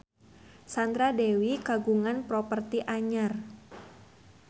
Sandra Dewi kagungan properti anyar